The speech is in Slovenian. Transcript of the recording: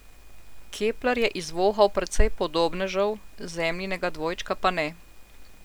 Kepler je izvohal precej podobnežev, Zemljinega dvojčka pa ne.